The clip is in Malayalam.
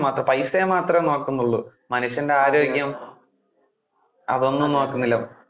പൈസയെ മാത്രം നോക്കുന്നോള്ളൂ. മനുഷ്യന്‍ടെ ആരോഗ്യം അതൊന്നും നോക്കുന്നില്ല.